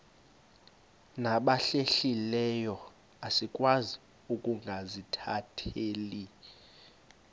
nabahlehliyo asikwazi ukungazikhathaieli